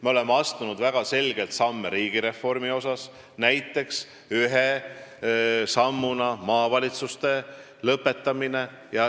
Me oleme astunud väga selgeid samme riigireformi mõttes, näiteks kaotanud maavalitsused.